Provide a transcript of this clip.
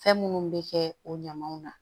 Fɛn minnu bɛ kɛ o ɲamanw na